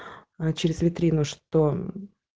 а через витрину что